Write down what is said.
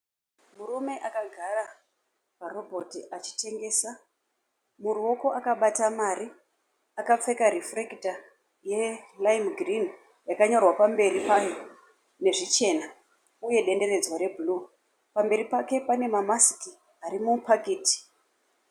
Murume akagara parobhoti achitengesa. Muruoko akabata mari. Akapfeka rifurekita yeraimu girinhi yakanyorwa pamberi payo nezvichena uye dendenedzwa rebhuruu. Pamberi pake pane mamasiki ari mupaketi.